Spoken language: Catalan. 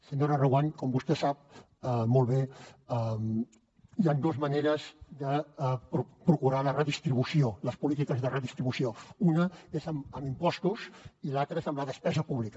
senyora reguant com vostè sap molt bé hi han dos maneres de procurar la redistribució les polítiques de redistribució una és amb impostos i l’altra és amb la despesa pública